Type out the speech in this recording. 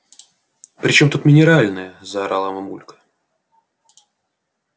при чём тут минеральная заорала мамулька